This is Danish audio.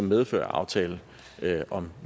medfør af aftalen om